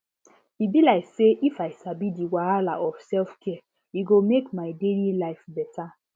e be like say if i sabi the wahala of selfcare e go make my daily life beta